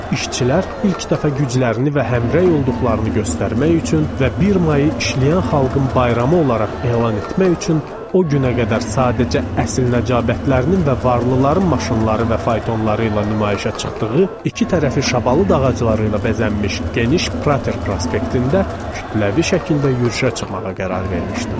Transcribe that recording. İşçilər ilk dəfə güclərini və həmrəy olduqlarını göstərmək üçün və 1 mayı işləyən xalqın bayramı olaraq elan etmək üçün o günə qədər sadəcə əsil nəcabətlilərinin və varlıların maşınları və faytonları ilə nümayişə çıxdığı, iki tərəfi şabalıd ağacları ilə bəzənmiş geniş Prater prospektində kütləvi şəkildə yürüşə çıxmağa qərar vermişdilər.